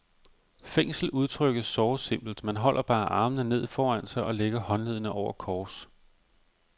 Fængsel udtrykkes såre simpelt, man holder bare armene ned foran sig og lægger håndleddene over kors.